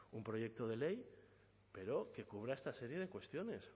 un proyecto de ley pero que cubra esta serie de cuestiones